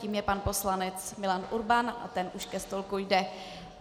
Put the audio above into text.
Tím je pan poslanec Milan Urban a ten už ke stolku jde.